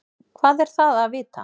Hvað er það að vita?